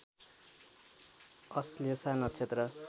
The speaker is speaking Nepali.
अश्लेषा नक्षत्र